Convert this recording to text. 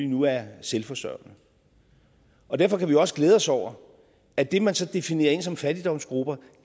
nu er selvforsørgende og derfor kan vi også glæde os over at det man så definerer som fattigdomsgrupper